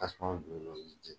Tasuma bil'o la, o bi jeni